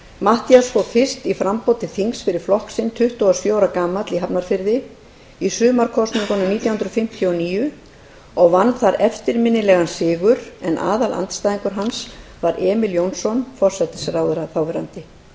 matthías fór fyrst í framboð til þings fyrir flokk sinn tuttugu og sjö ára gamall í hafnarfirði í sumarkosningunum nítján hundruð fimmtíu og níu og vann þar eftirminnilegan sigur en aðalandstæðingur hans var emil jónsson forsætisráðherra þáverandi